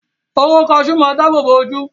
Hóró kaṣú máa dábòbò ojú.